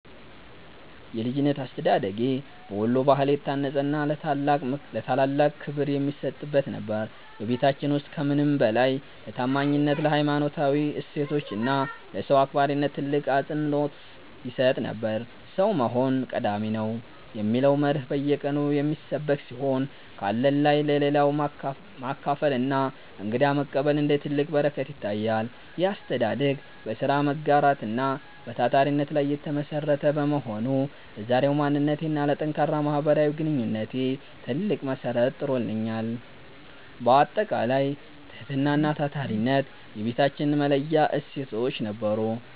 የልጅነት አስተዳደጌ በወሎ ባህል የታነጸና ለታላላቅ ክብር የሚሰጥበት ነበር። በቤታችን ውስጥ ከምንም በላይ ለታማኝነት፣ ለሀይማኖታዊ እሴቶች እና ለሰው አክባሪነት ትልቅ አፅንዖት ይሰጥ ነበር። "ሰው መሆን ቀዳሚ ነው" የሚለው መርህ በየቀኑ የሚሰበክ ሲሆን፣ ካለን ላይ ለሌለው ማካፈልና እንግዳ መቀበል እንደ ትልቅ በረከት ይታያል። ይህ አስተዳደግ በሥራ መጋራት እና በታታሪነት ላይ የተመሠረተ በመሆኑ፣ ለዛሬው ማንነቴና ለጠንካራ ማህበራዊ ግንኙነቴ ትልቅ መሠረት ጥሎልኛል። ባጠቃላይ፣ ትህትናና ታታሪነት የቤታችን መለያ እሴቶች ነበሩ።